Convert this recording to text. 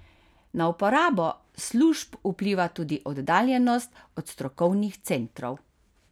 Na uporabo služb vpliva tudi oddaljenost od strokovnih centrov.